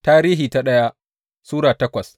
daya Tarihi Sura takwas